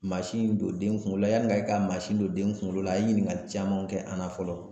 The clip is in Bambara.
Mansin don den kungolo la yanni a ka mansin don den kunkolo la a ye ɲininkali caman kɛ an na fɔlɔ